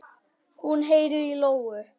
Hún heyrir í lóu.